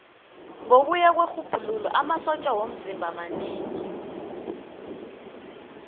ngokuya kwerhubhululo amasotja womzimba manengi